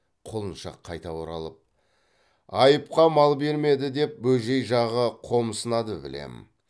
құлыншақ қайта оралып айыпқа мал бермеді деп бөжей жағы қомсынады білем